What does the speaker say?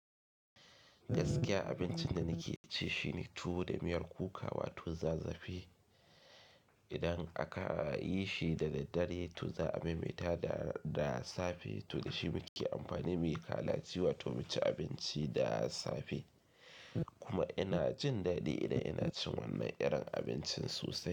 Gaskiya abincin da nike ci shine tuwo da miyar kuka wato za zafi. Idan aka yi shi da daddare to za a maimaita da da safe, to da shi muke amfani muyi kala ci wato mu ci abinci da safe. Kuma ina jin daɗi idan ina cin wannan irin abincin sosai.